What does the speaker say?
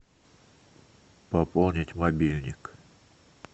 пополнить мобильник